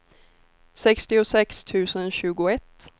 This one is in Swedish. sextiosex tusen tjugoett